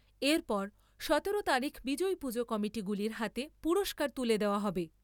এরপর সতেরো তারিখ বিজয়ী পুজো কমিটিগুলির হাতে পুরস্কার তুলে দেওয়া হবে।